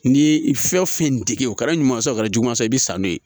N'i ye fɛn fɛn dege o kɛra ɲuman sɔrɔ o kɛra juguman i bi sa n'o ye